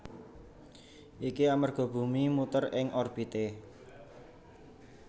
Iki amerga bumi muter ing orbité